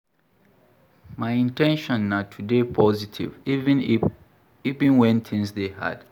My in ten tion na to dey positive, even wen tins dey hard.